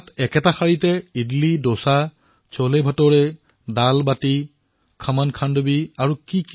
এটা শাৰীতেই ইডলীডোচা ছোলেভটোৰে দালবাটি খমনখাণ্ডৱী আৰু যে কি কি